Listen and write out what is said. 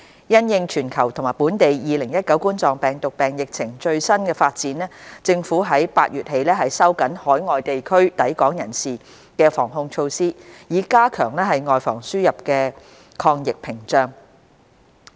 因應全球及本地2019冠狀病毒病疫情最新發展，政府在8月起收緊海外地區抵港人士的防控措施，以加強外防輸入的抗疫屏障。